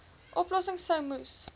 oplossings sou moes